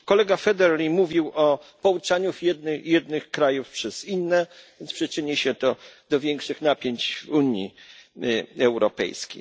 Otóż kolega Federley mówił o pouczaniu jednych krajów przez inne, więc przyczyni się to do większych napięć w Unii Europejskiej.